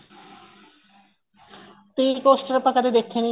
ਤੇ tea coaster ਆਪਾਂ ਕਦੇ ਦੇਖੇ ਨੀਂ